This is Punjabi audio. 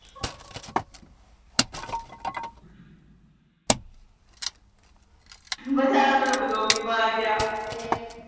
ਵਿਚਾਰਾ ਮੈਨੂੰ block ਈ ਮਾਰ ਗਿਆ।